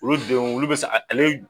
Olu denw olu be se ale